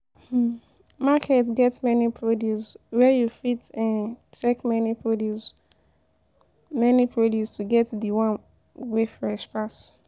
um Market get many produce where you fit um check many produce many produce to get de one wey fresh pass.